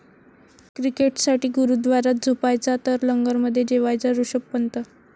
क्रिकेटसाठी गुरुद्वारात झोपायचा तर लंगरमध्ये जेवायचा ऋषभ पंत